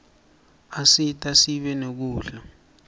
asita sibe nekudla